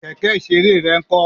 Kẹ̀kẹ́ ìṣeré rẹ ń kó?